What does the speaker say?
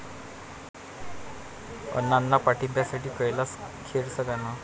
अण्णांना पाठिंब्यासाठी कैलास खेरचं गाणं